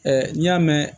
n'i y'a mɛn